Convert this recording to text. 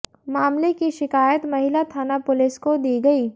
मामले की शिकायत महिला थाना पुलिस को दी गई